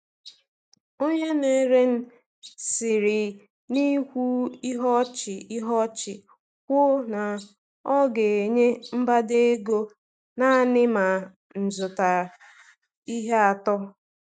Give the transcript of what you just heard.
Onye na-ere siri n’ikwu ihe ọchị ihe ọchị kwuo na ọ ga-enye mgbada ego naanị ma m zụta ihe atọ.